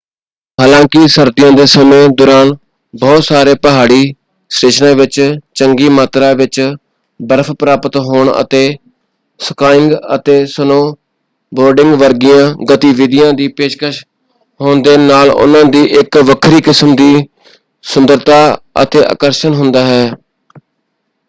ਹਾਲਾਂਕਿ ਸਰਦੀਆਂ ਦੇ ਸਮੇਂ ਦੌਰਾਨ ਬਹੁਤ ਸਾਰੇ ਪਹਾੜੀ ਸਟੇਸ਼ਨਾਂ ਵਿੱਚ ਚੰਗੀ ਮਾਤਰਾ ਵਿੱਚ ਬਰਫ਼ ਪ੍ਰਾਪਤ ਹੋਣ ਅਤੇ ਸਕਾਇੰਗ ਅਤੇ ਸਨੋ-ਬੋਰਡਿੰਗ ਵਰਗੀਆਂ ਗਤੀਵਿਧੀਆਂ ਦੀ ਪੇਸ਼ਕਸ਼ ਹੋਣ ਦੇ ਨਾਲ ਉਨ੍ਹਾਂ ਦੀ ਇੱਕ ਵੱਖਰੀ ਕਿਸਮ ਦੀ ਸੁੰਦਰਤਾ ਅਤੇ ਆਕਰਸ਼ਣ ਹੁੰਦਾ ਹੈ।